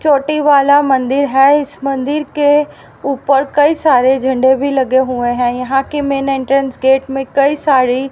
चोटी वाला मंदिर है इस मंदिर के ऊपर कई सारे झंडे भी लगे हुए हैं यहां के मेन एंट्रेंस गेट में कई सारी--